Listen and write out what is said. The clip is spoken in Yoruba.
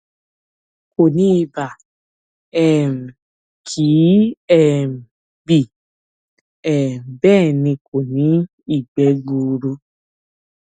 kò ní ibà um kì í um bì um bẹ́ẹ̀ ni kò ní ìgbẹ́ gbuuru